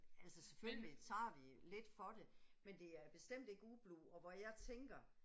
Altså selvfølgelig tager vi lidt for det, men det er bestemt ikke ublu, og hvor jeg tænker